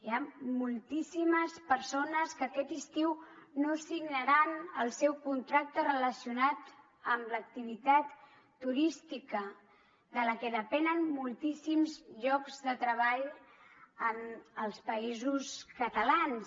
hi han moltíssimes persones que aquest estiu no signaran el seu contracte relacionat amb l’activitat turística de la que depenen moltíssims llocs de treball en els països catalans